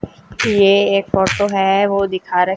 ये एक ऑटो है वो दिखारे--